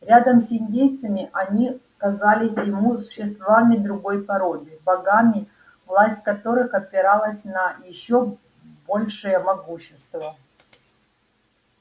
рядом с индейцами они казались ему существами другой породы богами власть которых опиралась на ещё большее могущество